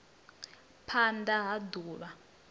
phand a ha d uvha